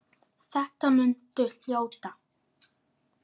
Þetta muntu hljóta.